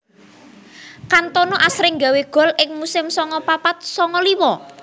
Kantona asring gawé gol ing musim sanga papat sanga limo